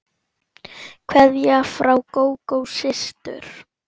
Kveðja frá Gógó systur.